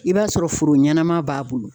I b'a sɔrɔ foro ɲɛnɛma b'a bolo